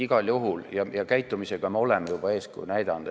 Igal juhul, käitumisega me oleme juba eeskuju näidanud.